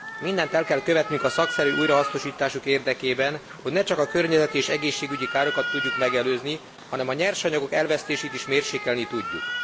Mindent el kell követnünk a szakszerű újrahasznosításuk érdekében, hogy ne csak a környezeti és egészségügyi károkat tudjuk megelőzni, hanem a nyersanyagok elvesztését is mérsékelni tudjuk.